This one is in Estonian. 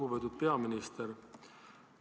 Lugupeetud peaminister!